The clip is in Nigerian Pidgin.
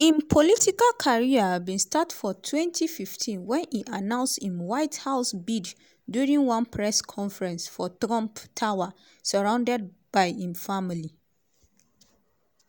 im political career bin start for 2015 wen e announce im white house bid during one press conference for trump tower surrounded by im family.